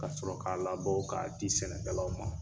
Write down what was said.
Ka sɔrɔ k'a labɔ k'a di sɛnɛkɛlaw ma.